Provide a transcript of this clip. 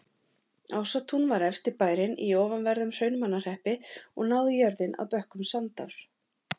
Ásatún var efsti bærinn í ofanverðum Hrunamannahreppi og náði jörðin að bökkum Sandár.